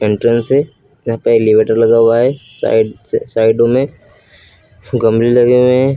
Entrance है यहां पे एलीवेटर लगा हुआ है साइड से साइडों में गमले लगे हुए हैं।